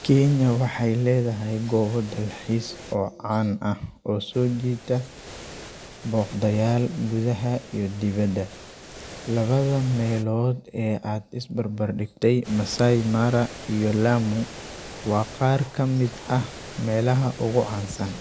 Kenya waxa aya ledahay goobo dalxis o caan aah o so jiita booqda yaal gudaha iyo dibada. 2 meelod ad isbar bardigtay Massai Mara iyo Lamu wa qaar kamid aah melaha ugu caasan.